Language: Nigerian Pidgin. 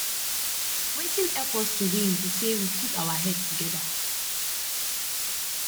wetin help us to win be say we put our head together